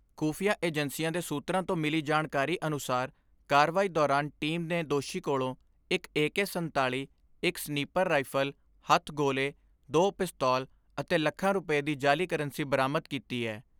ਖੁਫ਼ੀਆਂ ਏਜੰਸੀਆਂ ਦੇ ਸੂਤਰਾਂ ਤੋਂ ਮਿਲੀ ਜਾਣਕਾਰੀ ਅਨੁਸਾਰ ਕਾਰਵਾਈ ਦੌਰਾਨ ਟੀਮ ਨੇ ਦੋਸ਼ੀ ਕੋਲੋਂ ਇਕ ਏ ਕੇ ਸੰਤਾਲੀ, ਇਕ ਸਨੀਪੁਰ ਰਾਇਫਲ, ਹੱਥ ਗੋਲੇ, ਦੋ ਪਿਸਤੌਲ ਅਤੇ ਲੱਖਾਂ ਰੁਪੈ ਦੀ ਜਾਲੀ ਕਰੰਸੀ ਬਰਾਮਦ ਕੀਤੀ ਐ।